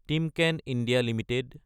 Timken India Ltd